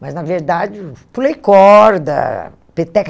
Mas, na verdade, pulei corda, peteca.